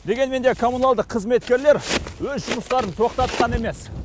дегенмен де коммуналдық қызметкерлер өз жұмыстарын тоқтатқан емес